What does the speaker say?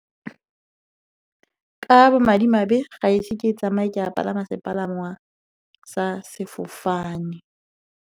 Ka bomadimabe, ga ise ke tsamaye ke a palama sepalangwa sa sefofane.